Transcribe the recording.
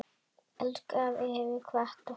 Elsku afi hefur kvatt okkur.